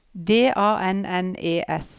D A N N E S